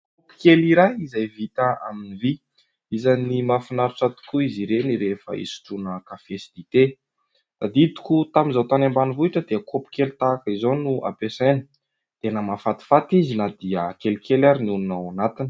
Kaopy kely iray izay vita amin'ny vy. Isan'ny mahafinaritra tokoa izy ireny rehefa isotroana kafe sy dite. Tadidiko tamin'izaho tany ambanivohitra dia kaopy kely tahaka izao no ampiasaina, tena mahafatifaty izy na dia kelikely ary no honona ao anatiny.